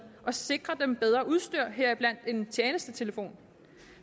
og sikre dem bedre udstyr heriblandt en tjenestetelefon